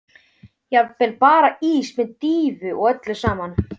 Jafnvel bara ís með dýfu og öllu saman.